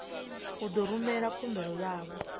u ḓo rumela khumbelo yavho